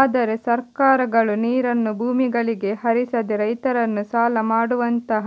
ಆದರೆ ಸರ್ಕಾರಗಳು ನೀರನ್ನು ಭೂಮಿಗಳಿಗೆ ಹರಿಸದೆ ರೈತರನ್ನು ಸಾಲ ಮಾಡುವಂತಹ